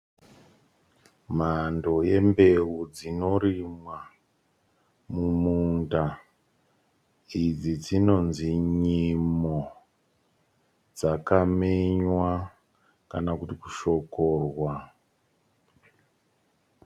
Mhando yembeu dzinorimwa mumunda. Idzi dzinonzi nyimo dzakamenywa kana kuti kushokorwa.